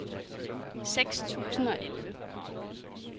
seks tusind og elleve